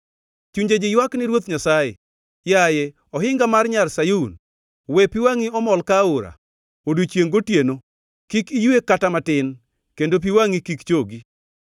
Chunje ji ywak ni Ruoth Nyasaye. Yaye ohinga mar Nyar Sayun, we pi wangʼi omol ka aora, odiechiengʼ gotieno; kik iywe kata matin, kendo pi wangʼi kik chogi.